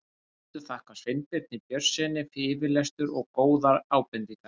Höfundur þakkar Sveinbirni Björnssyni yfirlestur og góðar ábendingar.